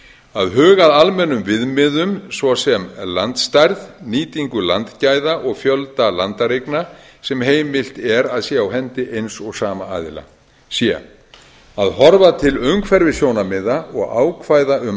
að huga að almennum viðmiðum svo sem landstærð nýtingu landgæða og fjölda landareigna sem heimilt er að sé á hendi eins og sama aðila c að horfa til umhverfissjónarmiða og ákvæða um